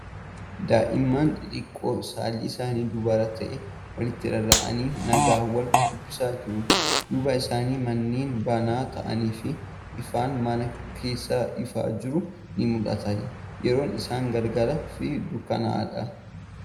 Daa'imman xixiqqoon saalli isaanii durba ta'an walitti rarra'anii nagaa wal dubbisaa jiru. Duuba isaanii manneen banaa ta'anii fi ifaan mana keessaa ifaa jiru ni mul'ata. Yeroon isaa galgalaa fi dukkanaa'aadha.